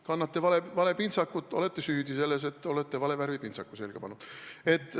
Kannate vale pintsakut – olete süüdi selles, et olete vale värvi pintsaku selga pannud.